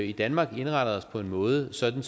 i danmark indrettet os på en måde sådan